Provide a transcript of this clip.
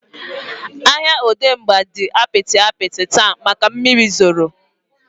Ahịa Odegba dị apịtị apịtị taata maka mmiri zoro